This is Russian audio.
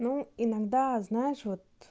ну иногда знаешь вот